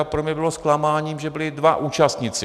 A pro mě bylo zklamáním, že byli dva účastníci.